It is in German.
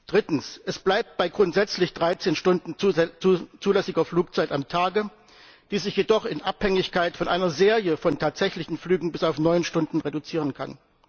Drittens Es bleibt bei grundsätzlich 13 Stunden zulässiger Flugzeit am Tag, die sich jedoch in Abhängigkeit von einer Serie von tatsächlichen Flügen bis auf neun Stunden reduzieren kann.